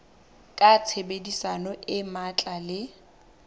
ka tshebedisano e matla le